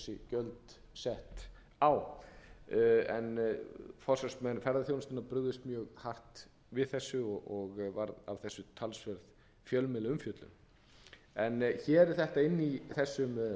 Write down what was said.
gjöld sett á en forsvarsmenn ferðaþjónustunnar brugðust mjög hart við þessu og varð af þessu talsverð fjölmiðlaumfjöllun hér er þetta inni í þessum